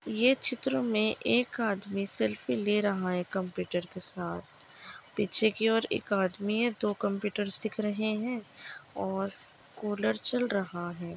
ये चित्र मे एक आदमी सेल्फी ले रहा है कम्पुटर के साथ पिच्छे की और एक आदमी है दो कम्पुटर दिख रहे है और कुलर चल रहा है।